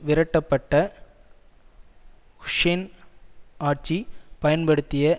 விரட்டப்பட்ட Hussein ஆட்சி பயன்படுத்திய